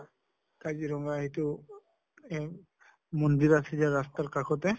কাজিৰঙ্গা এইটো উম মন্দিৰ আছে যে ৰাস্তাৰ কাষতে